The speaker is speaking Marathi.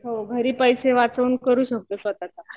हो. घरी पैसे वाचवून करू शकतो स्वतःच आपण.